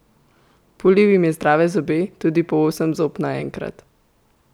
Pulil jim je zdrave zobe, tudi po osem zob naenkrat.